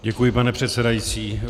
Děkuji, pane předsedající.